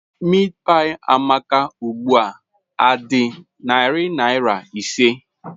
Meatpie Amaka ugbu a dị narị naira ise?